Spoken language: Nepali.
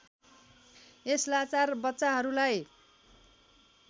यस लाचार बच्चाहरूलाई